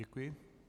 Děkuji.